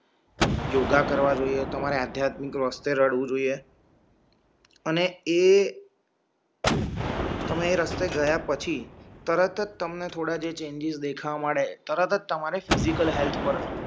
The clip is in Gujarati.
યોગા કરવા જોઈએ તમારી આધ્યાત્મિક રસ્તે રઝળવું જોઈએ અને એ તમે એ રસ્તે ગયા પછી તરતઅજ તમને થોડાં ચેન્જિસ દેખાવા માટે તરતઅજ તમારી ફિઝિકલ હેલ્થ પર